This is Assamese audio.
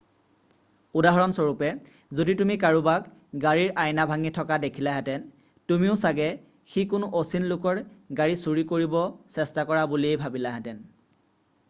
উদাহৰণস্বৰূপে যদি তুমি কাৰোবাক গাড়ীৰ আইনা ভাঙি থকা দেখিলাহেতেন তুমিও চাগে সি কোনো অচিন লোকৰ গাড়ী চুৰি কৰিব চেষ্টা কৰা বুলিয়েই ভাবিলাহেতেন